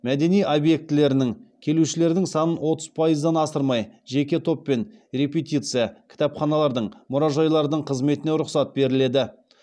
мәдени объектілерінің кітапханалардың мұражайлардың қызметіне рұқсат беріледі